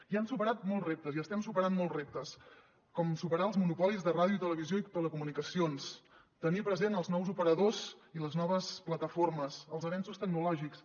i hem superat molts reptes i estem superant molts reptes com superar els monopolis de ràdio televisió i telecomunicacions tenir presents els nous operadors i les noves plataformes els avenços tecnològics